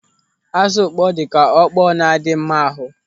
Ázụ̀ ukpoo dịka okpo na-adị mma ahụ.